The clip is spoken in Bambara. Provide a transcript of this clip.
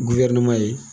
ye